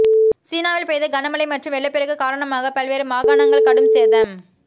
சீனாவில் பெய்த கனமழை மற்றும் வெள்ளப் பெருக்கு காரணமாக பல்வேறு மாகாணங்கள் கடும் சேதம்